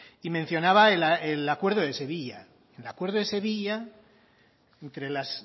y mencionaba el acuerdo de sevilla en el acuerdo de sevilla entre las